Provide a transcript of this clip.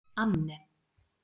Anne